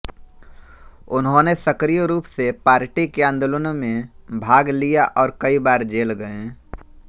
उन्होंने सक्रिय रूप से पार्टी के आंदोलनों में भाग लिया और कई बार जेल गए